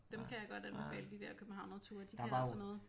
Dem kan jeg godt anbefale de dér Københavnerture de kan altså noget